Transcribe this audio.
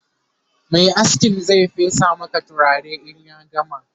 Mai askin Zai fesa Maka turare in ya gama